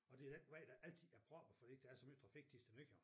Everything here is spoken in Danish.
Og det den vej der altid er proppet fordi der er så meget trafik Thisted Nykøbing